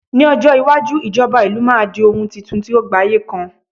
ní ọjọ iwaju ijoba ìlú ma di oun Titun ti o gbaye kan